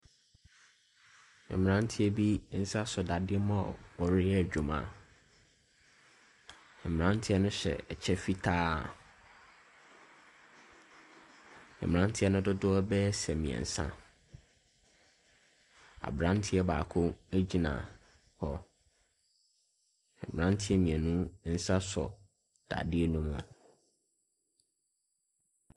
Mmranteɛ bi nsa sɔ dadeɛ mu a wɔreyɛ adwuma. Mmranteɛ no hyɛ ɛkyɛ fitaa. Mmranteɛ no dodoɔ bɛyɛ sɛ mmiɛnsa. Abranteɛ baako egyina hɔ. Mmranteɛ mmienu nsa sɔ dadeɛ no mu.